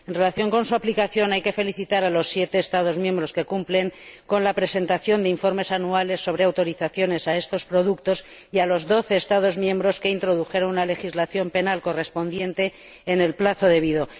En relación con su aplicación, hay que felicitar a los siete Estados miembros que cumplen con la presentación de informes anuales sobre autorizaciones de estos productos y a los doce Estados miembros que introdujeron una legislación penal correspondiente en el plazo debido.